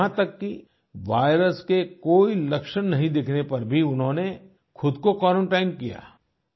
यहाँ तक कि वायरस के कोई लक्षण नहीं दिखने पर भी उन्होंने ख़ुद को क्वारंटाइन किया